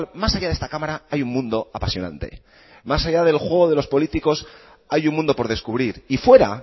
más haya de esta cámara hay un mundo apasionante más haya del juego de los políticos hay un mundo por descubrir y fuera